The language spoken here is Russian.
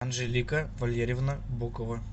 анжелика валерьевна букова